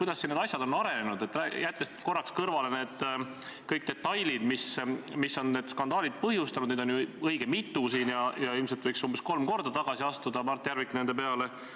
Ma pean seda ülimalt ohtlikuks sellelesamale demokraatlikule õigusriigi korrale, väga kahjulikuks ühiskonna sidususele, kui laseme neil asjadel lihtsalt minna, ei räägi neist, ei ürita leida lahendust ega neid parandada.